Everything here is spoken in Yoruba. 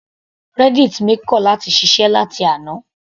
Reddit mi kọ̀ láti ṣiṣẹ́ láti àná.